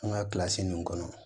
An ka kilasi nunnu kɔnɔ